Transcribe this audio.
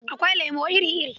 Akwai lemo iri-iri.